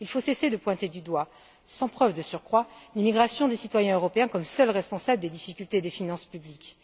Il faut cesser de pointer du doigt, sans preuve de surcroît, l'immigration des citoyens européens comme seule responsable des difficultés des finances publiques.